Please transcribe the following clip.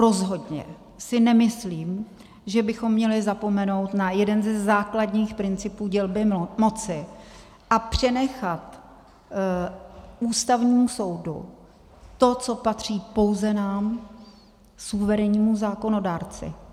Rozhodně si nemyslím, že bychom měli zapomenout na jeden ze základních principů dělby moci a přenechat Ústavnímu soudu to, co patří pouze nám, suverénnímu zákonodárci.